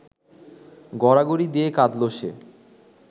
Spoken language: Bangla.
গড়াগড়ি দিয়ে কাঁদল সে